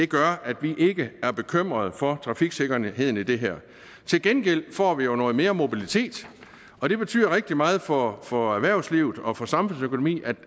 gør at vi ikke er bekymret for trafiksikkerheden i det her til gengæld får vi jo noget mere mobilitet og det betyder rigtig meget for for erhvervslivet og for samfundsøkonomien